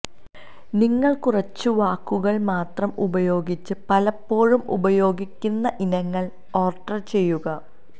നിങ്ങൾ കുറച്ച് വാക്കുകൾ മാത്രം ഉപയോഗിച്ച് പലപ്പോഴും ഉപയോഗിക്കുന്ന ഇനങ്ങൾ ഓർഡർ ചെയ്യുക